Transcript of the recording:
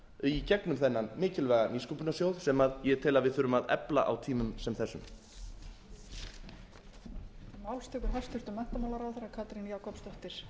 í gegnum þennan mikilvæga nýsköpunarsjóð sem ég tel að við þurfum að efla á tímum sem þessum